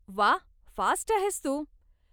वाह, फास्ट आहेस तू.